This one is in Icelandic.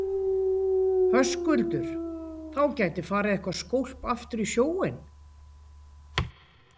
Höskuldur: Þá gæti farið eitthvað skólp aftur í sjóinn?